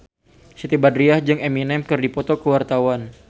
Siti Badriah jeung Eminem keur dipoto ku wartawan